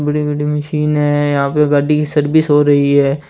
यहाँ पर गाड़ी की सर्विस हो रही है।